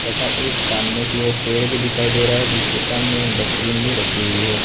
तथा एक सामने की और पेड़ भी दिखाई दे रहा है जिसके सामने एक डस्टबिन भी रखी हुई है।